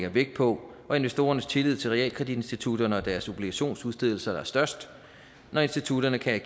vægt på og investorernes tillid til realkreditinstitutterne og deres obligationsudstedelser er størst når institutterne kan